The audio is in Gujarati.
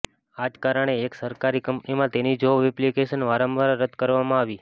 આજ કારણે એક સરકારી કંપનીમાં તેની જોબ એપ્લિકેશન વારંવાર રદ્દ કરવામાં આવી